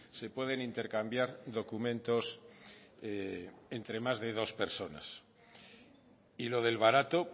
se pueden intercambiar documentos entre más de dos personas y lo del barato